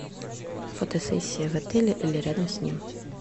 фотосессия в отеле или рядом с ним